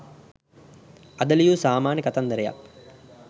අද ලියූ සාමාන්‍ය කතන්දරයක්